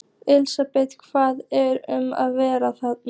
Elísabet, hvað er um að vera þarna?